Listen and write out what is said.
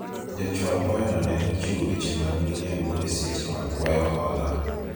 jachwal kwayo no ne ochiwo weche mag miriambo eseche mag kwayo hola